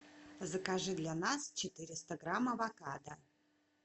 закажи для нас четыреста грамм авокадо